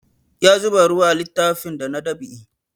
Ya zuba ruwa a littafin da na dab'i